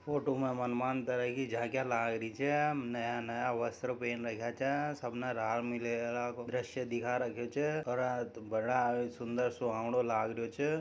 फोटो के माइन झांकियां लाग री छ नया नया वस्त्र पहन रखा छ सब न रामलीला को दर्शय दिखा रखो छ ओ रा बड़ा सुंदर सुहावने लाग रो छ।